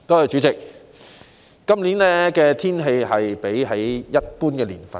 主席，本年的氣溫較往年低。